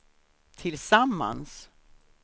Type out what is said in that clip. tillsammans